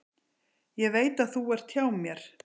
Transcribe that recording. Ég veit að þú ert hjá mér.